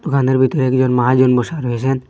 দুকানের ভিতর একজন মহাজন বসা রয়েসেন।